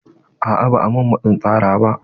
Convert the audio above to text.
A'a ba a min matsin tsara ba.